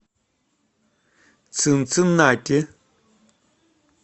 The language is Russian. цинциннати